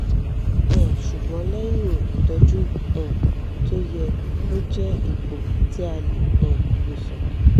um ṣùgbọ́n lẹ́yìn ìtọ́jú um tó yẹ ó jẹ́ ipò tí a lè um wòsàn